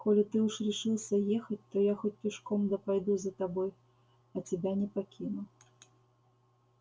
коли ты уж решился ехать то я хоть пешком да пойду за тобой а тебя не покину